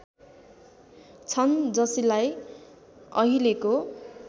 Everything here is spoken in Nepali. छन् जसलाई अहिलेको